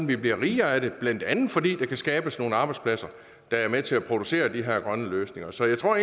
vi bliver rigere af det blandt andet fordi der kan skabes nogle arbejdspladser der er med til at producere de her grønne løsninger så jeg tror